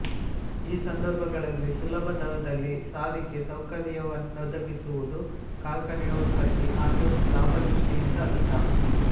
ಈ ಸಂದರ್ಭಗಳಲ್ಲಿ ಸುಲಭದರದಲ್ಲಿ ಸಾರಿಗೆ ಸೌಕರ್ಯವನ್ನೊದಗಿಸುವುದು ಕಾರ್ಖಾನೆಯ ಉತ್ಪತ್ತಿ ಹಾಗೂ ಲಾಭದೃಷ್ಟಿಯಿಂದ ಹಿತ